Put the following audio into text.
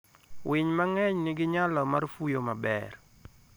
Winy mang'eny nigi nyalo mar fuyo maber.